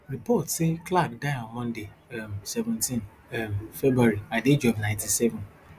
reports say clark die on monday um seventeen um february at di age of ninety-seven